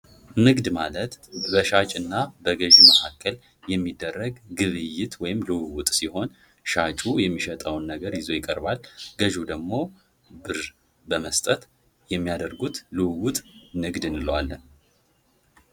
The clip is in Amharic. ንግድ ማለት በሻጭና በግዥ መሃል የሚደረግ ግብይት ወይም ልውውጥ ሲሆን ሻጩ የሚሸጠውን ነገር ይዞ ይቀርባል ገዢው ደግሞ ብር በመስጠት የሚያደርጉት ልውውጥ ንግድ እንለዋለን።